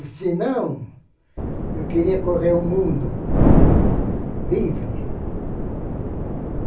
E se não, eu queria correr o mundo livre.